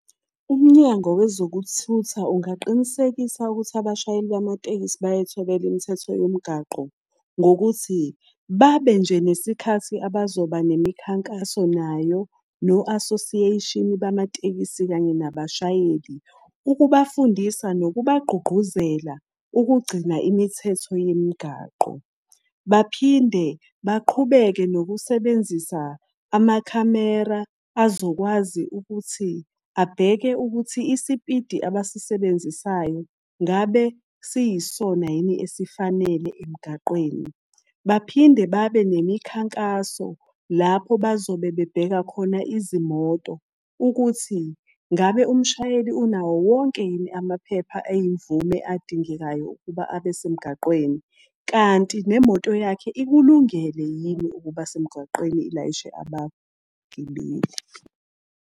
Umnyango wezokuthutha ungaqinisekisa ukuthi abashayeli bamatekisi bayayithobela imithetho yomgwaqo ngokuthi, babe nje nesikhathi abazoba nemikhankaso nayo no-association bamatekisi, kanye nabashayeli. Ukubafundisa, nokubagqugquzela ukugcina imithetho yemigaqo. Baphinde baqhubeke nokusebenzisa amakhamera azokwazi ukuthi abheke ukuthi isipidi abasisebenzisayo ngabe siyisona yini esifanele emgaqweni. Baphinde babe nemikhankaso lapho bazobe bebheka khona izimoto ukuthi ngabe umshayeli unawo wonke yini amaphepha ayimvume adingekayo ukuba abe semgaqweni. Kanti nemoto yakhe ikulungele yini ukuba semgaqweni ilayishe abagibeli.